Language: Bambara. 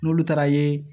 N'olu taara ye